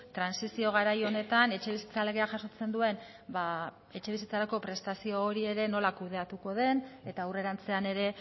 trantsizio garai honetan etxebizitza legea jasotzen duen ba etxebizitzarako prestazio hori ere nola kudeatuko den eta aurrerantzean ere